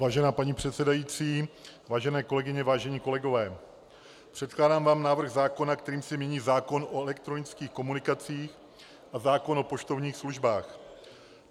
Vážená paní předsedající, vážené kolegyně, vážení kolegové, předkládám vám návrh zákona, kterým se mění zákon o elektronických komunikacích a zákon o poštovních službách.